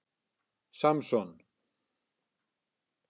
Samson